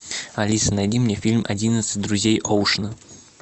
алиса найди мне фильм одиннадцать друзей оушена